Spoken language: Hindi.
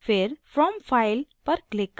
फिर from file पर click करें